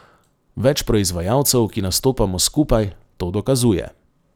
Več proizvajalcev, ki nastopamo skupaj, to dokazuje.